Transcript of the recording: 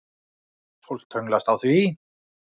Fólk staglast á því.